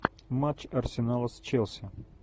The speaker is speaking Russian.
матч арсенала с челси